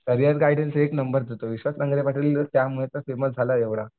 Career guidance एक number देतो विश्वास नांगरे पाटील त्यामुळे तर फेमस झालाय एवढा.